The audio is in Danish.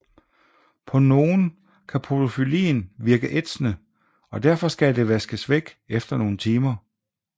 På nogen kan podofyllin virke ætsende og derfor skal det vaskes væk efter nogle timer